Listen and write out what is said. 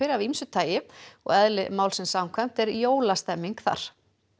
af ýmsu tagi og eðli málsins samkvæmt er jólastemning þar